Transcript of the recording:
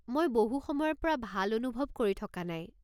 মই বহু সময়ৰ পৰা ভাল অনুভৱ কৰি থকা নাই।